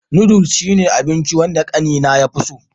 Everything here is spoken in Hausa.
Noodles shine abinchi wanda ƙanena ya fi so.